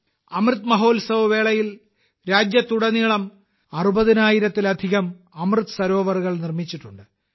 അമൃത് മഹോത്സവവേളയിൽ രാജ്യത്തുടനീളം 60000 ത്തിലധികം അമൃത് സരോവറുകൾ നിർമ്മിച്ചിട്ടുണ്ട്